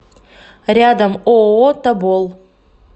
рядом ооо тобол